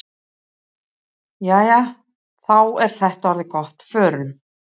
Jæja, þá er þetta orðið gott. Förum.